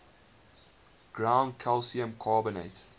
ground calcium carbonate